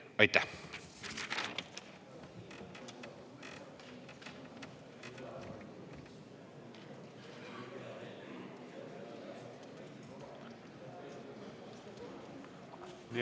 Aitäh!